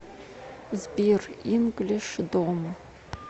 сбер инглиш дом